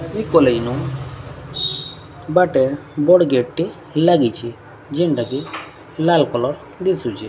ଆଜି କଲେଜ ନୁ ବାଟ ବଡ଼ ଗେଟ୍ ଟି ଲାଗିଛି ଯେନ୍ଟାକେ ଲାଲ୍ କଲର୍ ଦିଶୁଛି ।